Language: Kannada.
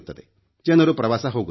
ಜನರು ಪ್ರವಾಸ ಹೋಗುತ್ತಾರೆ